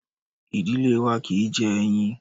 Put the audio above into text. Ìdílé wa kì í jẹ ẹyin.